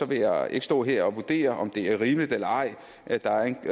vil jeg ikke stå her og vurdere om det er rimeligt eller ej at der er